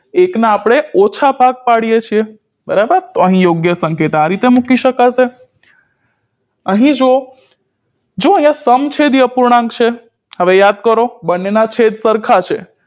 એક ના અપરે ઓછા ભાગ પાડીએ છીએ બરાબર તો અહી યોગ્ય સંકેત આ રીતે મૂકી શકાશે અહી જુઓ જો હવે સમછેડી અપૂર્ણાંક છે હવે યાદ કરો બંને ના છેદ સરખા છે